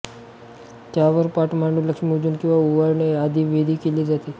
त्यावर पाट मांडून लक्ष्मीपूजन किंवा ओवाळणे आदी विधी केले जातात